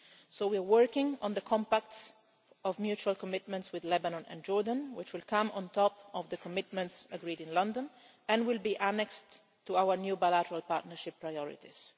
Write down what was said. So we are working on the compacts of mutual commitments with Lebanon and Jordan, which will come on top of the commitments agreed in London and will be annexed to our new bilateral partnership priorities.